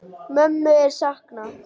Mömmu er saknað.